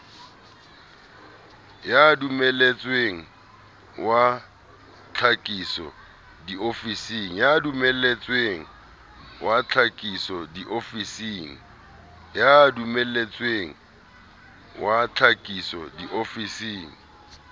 ya dumelletsweng wa tlhakiso diofising